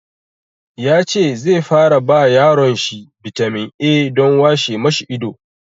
Ya ce zai fara ba yaron shi bitamin A don washe ma shi ido.